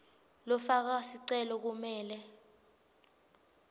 lofaka sicelo kumele